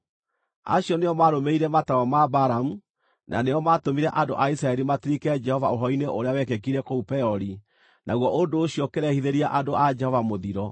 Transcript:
Acio nĩo maarũmĩrĩire mataaro ma Balamu, na nĩo maatũmire andũ a Isiraeli matirike Jehova ũhoro-inĩ ũrĩa wekĩkire kũu Peori, naguo ũndũ ũcio ũkĩrehithĩria andũ a Jehova mũthiro.